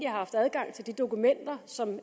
har haft adgang til de dokumenter som